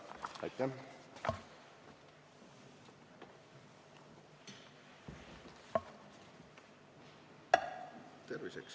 Aitäh!